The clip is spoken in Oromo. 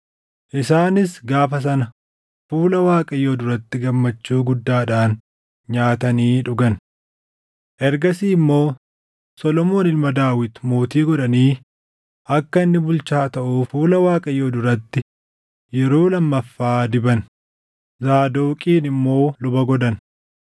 Isaanis gaafa sana fuula Waaqayyoo duratti gammachuu guddaadhaan nyaatanii dhugan. Ergasii immoo Solomoon ilma Daawit mootii godhanii akka inni bulchaa taʼuuf fuula Waaqayyoo duratti yeroo lammaffaa diban; Zaadoqiin immoo luba godhan.